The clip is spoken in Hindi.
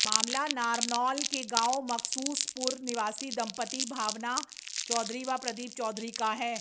मामला नारनौल के गांव मकसूसपुर निवासी दंपति भावना चौधरी व प्रदीप चौधरी का है